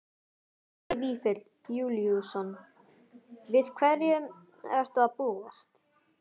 Helgi Vífill Júlíusson: Við hverju ertu að búast?